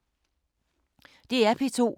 DR P2